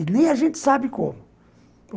E nem a gente sabe como.